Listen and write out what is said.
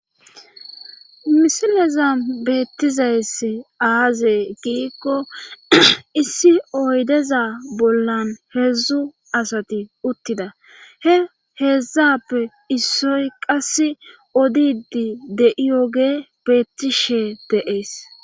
Misileza beettizayss aaze giikko issi oydeza bollan heedzdzu asati uttida he heedzdzappe issoy qass odidi de'iyoge beettishe deees